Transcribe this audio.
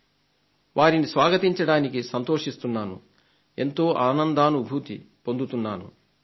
వారిని ఆహ్వానించడం కోసం ఎంతో ఆనందానుభూతిని పొందుతున్నాను నేను